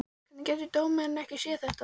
Hvernig getur dómarinn ekki séð þetta?